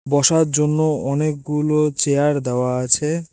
বসার জন্য অনেকগুলো চেয়ার দেওয়া আছে।